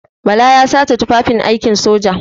Bala ya sace tufafin aikin soja.